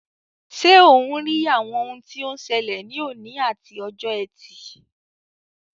Ṣé ò ń rí àwọn ohun tí ó ń ṣẹlẹ̀ ní òní àti ọjọ́ Ẹtì?